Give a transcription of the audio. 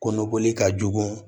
Kɔnɔkoli ka jugu